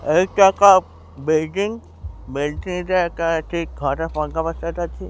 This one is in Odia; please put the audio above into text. ଏଇଟା ଏକ ବିଲଡିଂ ବିଲଡିଂ ରେ ଏଇଟା ଏଠି ଘର ।